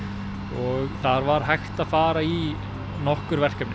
og þar var hægt að fara í nokkur verkefni